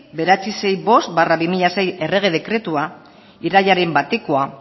bederatziehun eta hirurogeita bost barra bi mila sei errege dekretua irailaren batekoa